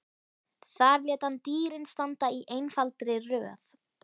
Þar lét hann dýrin standa í einfaldri röð.